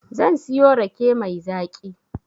Zan siyo rake mai zaƙi